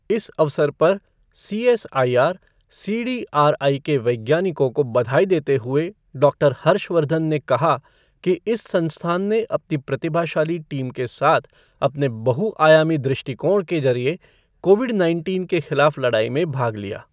इस अवसर पर सीएसआईआर सीडीआरआई के वैज्ञानिकों को बधाई देते हुए डॉक्टर हर्षवर्धन ने कहा कि इस संस्थान ने अपनी प्रतिभाशाली टीम के साथ अपने बहु आयामी दृष्टिकोण के जरिए कोविड नाइनटीन के खिलाफ लड़ाई में भाग लिया।